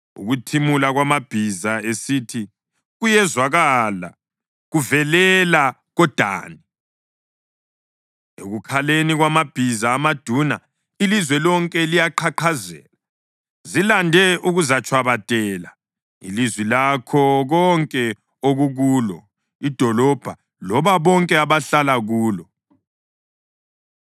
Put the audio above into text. Ukuthimula kwamabhiza esitha kuyezwakala kuvelela koDani, ekukhaleni kwamabhiza amaduna ilizwe lonke liyaqhaqhazela. Zilande ukuzatshwabadela ilizwe lakho konke okukulo, idolobho labo bonke abahlala kulo.